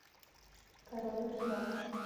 король рыбак